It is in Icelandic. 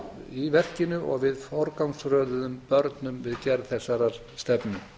í verkinu og við forgangsröðuðum börnum við gerð þessarar stefnu